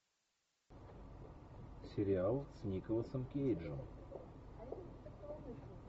сериал с николасом кейджем